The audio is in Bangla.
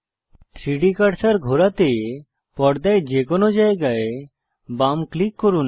3ডি কার্সার ঘোরাতে পর্দায় যেকোনো জায়গায় বাম ক্লিক করুন